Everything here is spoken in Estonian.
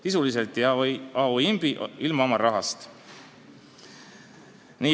Sisuliselt jäi A.O. Imbi ilma oma rahast.